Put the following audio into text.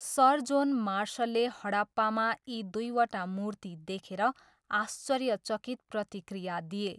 Sir John मार्सलले हडप्पामा यी दुईवटा मूर्ति देखेर आश्चर्यचकित प्रतिक्रिया दिए।